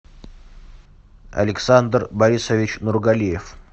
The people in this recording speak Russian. александр борисович нургалиев